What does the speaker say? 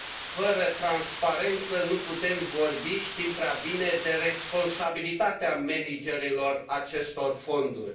Fără transparență nu putem vorbi, știm prea bine, de responsabilitatea managerilor acestor fonduri.